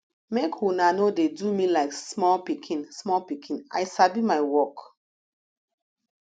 make una no dey do me like small pikin small pikin i sabi my work